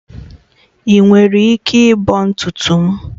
Ị nwere ike ịbọ ntutu m?